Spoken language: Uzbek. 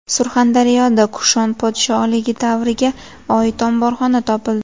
Surxondaryoda Kushon podshohligi davriga oid omborxona topildi .